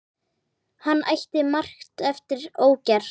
Hann ætti margt eftir ógert.